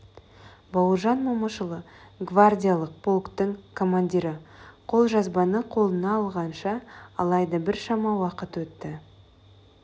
бауыржан момышұлы гвардиялық полктің командирі қолжазбаны қолына алғанша алайда біршама уақыт өтті